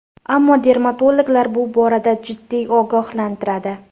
Ammo dermatologlar bu borada jiddiy ogohlantiradi.